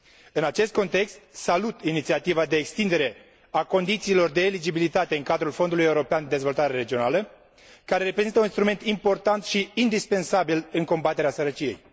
În acest context, salut inițiativa de extindere a condițiilor de eligibilitate în cadrul Fondului European de Dezvoltare Regională, care reprezintă un instrument important și indispensabil în combaterea sărăciei.